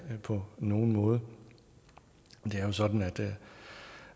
på nogen måde det er jo sådan at